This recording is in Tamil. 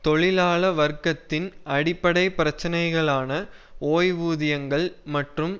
தொழிலாள வர்க்கத்தின் அடிப்படை பிரச்சினைகளான ஓய்வூதியங்கள் மற்றும்